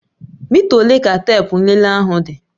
Mita ole ka teepu nlele ahụ dị?